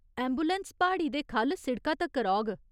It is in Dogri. ऐंबुलैंस प्हाड़ी दे ख'ल्ल सिड़का तक्कर औग।